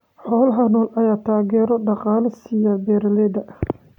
Xoolaha nool ayaa taageero dhaqaale siiya beeralayda.